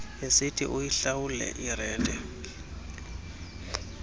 esithi uyihlawule irente